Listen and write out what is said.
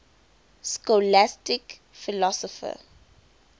scholastic philosophers